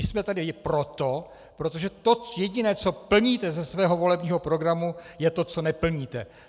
My jsme tady proto, protože to jediné, co plníte ze svého volebního programu, je to, co neplníte.